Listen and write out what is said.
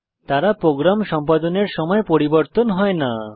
তারা প্রোগ্রাম সম্পাদনের সময় পরিবর্তন হয় না